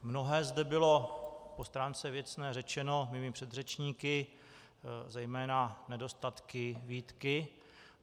Mnohé zde bylo po stránce věcné řečeno mými předřečníky, zejména nedostatky, výtky.